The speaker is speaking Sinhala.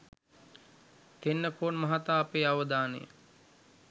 තෙන්නකෝන් මහතා අපේ අවධානය